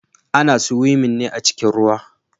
Ana siwimin ne a cikin ruwa.